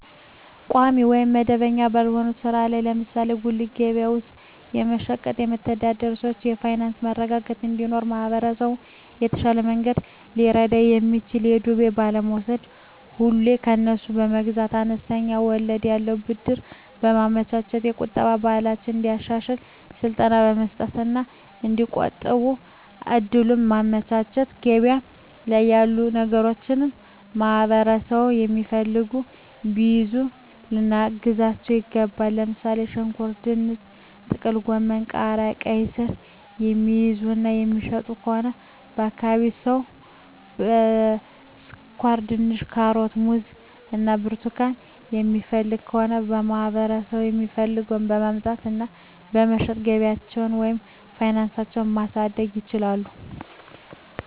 ቋሚ ወይም መደበኛ ባልሆነ ሥራ ላይ (ለምሳሌ በጉሊት ገበያ ውስጥ በመሸጥ)የሚተዳደሩ ሰዎች የፋይናንስ መረጋጋት እንዲኖራቸው ማህበረሰቡ በተሻለ መንገድ ሊረዳቸው የሚችለው በዱቤ ባለመውስድ፤ ሁሌ ከነሱ መግዛት፤ አነስተኛ ወለድ ያለው ብድር በማመቻቸት፤ የቁጠባ ባህላቸውን እንዲያሻሽሉ ስልጠና መስጠት እና እዲቆጥቡ እድሉን ማመቻቸት፤ ገበያ ላይ ያሉ ነገሮችን ማህበረሠቡ የሚፈልገውን ቢይዙ ልናግዛቸው ይገባል። ለምሣሌ፦ ሽንኩርት፤ ድንች፤ ጥቅልጎመን፤ ቃሪያ፤ ቃይስር፤ የሚይዙ እና የሚሸጡ ከሆነ የአካባቢው ሠው ስኳርድንች፤ ካሮት፤ ሙዝ እና ብርቱካን የሚፈልግ ከሆነ ለማህበረሰቡ የሚፈልገውን በማምጣት እና በመሸጥ ገቢያቸውን ወይም ፋናሳቸው ማሣደግ ይችላሉ።